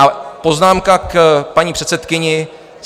A poznámka k paní předsedkyni.